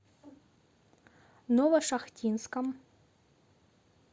новошахтинском